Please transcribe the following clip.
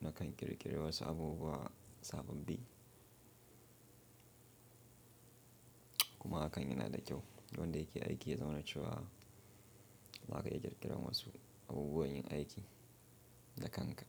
na kanyi ƙirƙirirwa wasu abubuwa sababbi. Kuma hakan yana da kyau don da yake aiki yana cewa za ka yi ƙirƙirar wasu abubuwan yin aiki da kanka.